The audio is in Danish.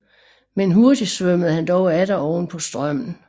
Men hurtig svømmede han dog atter oven på strømmen